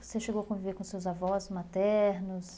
Você chegou a conviver com seus avós maternos?